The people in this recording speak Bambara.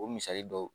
O misali dɔw